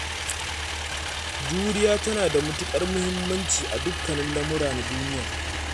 Juriya tana da mutuƙar muhimmancin a dukkanin lamura na duniya.